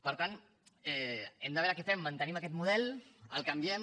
per tant hem de veure què fem mantenim aquest model el canviem